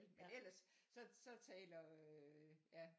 Men eller så så taler ja